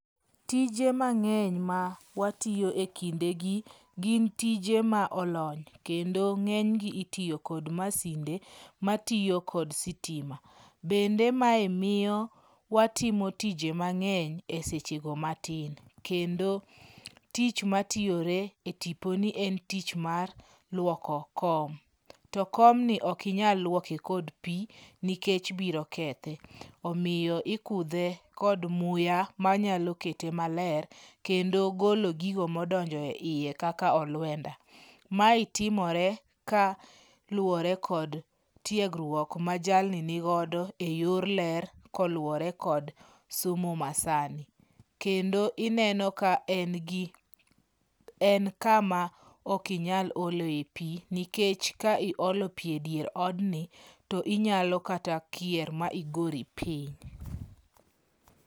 Tije mang'eny ma watiyo ekindegi gin tije ma olony kendo ng'enygi itiyo kod masinde matiyo kod sitima. Bende mae miyo watimo tije mang'eny esechego matin. Kendo tich matiyore e tiponi en tich mar luoko kom. To komni ok inyal luoke kod pi nikech biro kethe. Omiyo ikudhe kod muya manyalo kete maler, kendo golo gigo mondonjo eiye kaka oluenda. Mae timore kaluwore kod tiegruok ma jalni nigodo eyor ler koluwore kod somo masani. Kendo ineno ka en, gi en kama ok nyal oloe pi nikech ka iolo pi edier odni to inyalo kata kier ma igori piny.